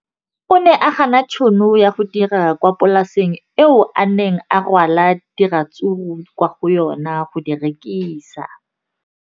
O ne a gana tšhono ya go dira kwa polaseng eo a neng rwala diratsuru kwa go yona go di rekisa.